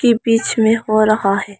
बीच में हो रहा है।